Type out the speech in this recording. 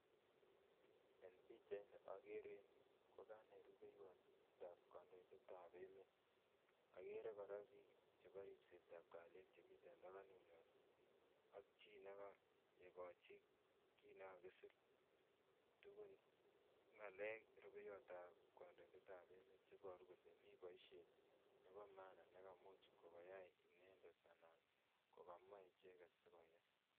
En pichait ni, agere kokanai rubeiwotab kandoidetab emet. Agere kora biik chebo ribsetab kalyet che miten tabanut nywan. Ak chii ne koikochin, kiy ne kakisir tugun, ng'alek, rubeiwotab kandoidetab emet che iboru kole mi boisiet nebo maana, ne kaimuch koyai inendet, anan kokamach icheket, sikoyai.